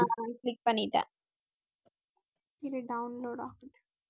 ஆஹ் click பண்ணிட்டேன் இரு download ஆகுது